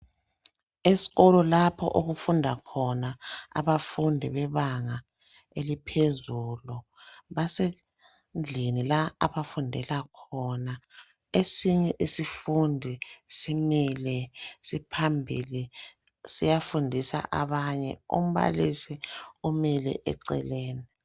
Esikolo lapho okufunda khona abafundi bebanga eliphezulu. Basendlini la abafundela khona. Esinye isifundi simile siphambili, siyafundisa abanye. Umbalisi umile eceleni.